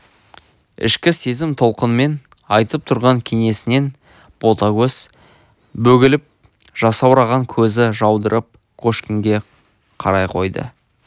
ішкі сезім толқынымен айтып тұрған кеңесінен ботагөз бөгеліп жасаураған көзі жаудырап кошкинге қарай қойды